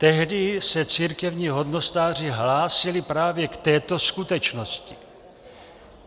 Tehdy se církevní hodnostáři hlásili právě k této skutečnosti.